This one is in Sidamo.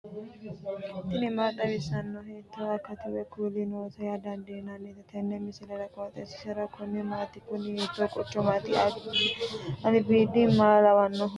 tini maa xawissanno ? hiitto akati woy kuuli noose yaa dandiinanni tenne misilera? qooxeessisera noori maati? kuni hiitoo quchumaaati albiidi maa lawannoho